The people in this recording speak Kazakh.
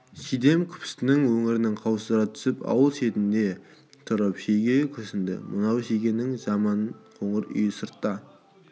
шидем күпісінің өңірін қаусыра түсіп ауыл шетінде тұрып шеге күрсінді мынау шегенің жаман қоңыр үйі сыртта